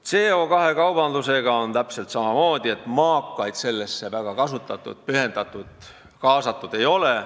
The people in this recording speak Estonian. CO2 kaubandusega on täpselt samamoodi: maakaid sellesse väga pühendatud ega kaasatud ei ole.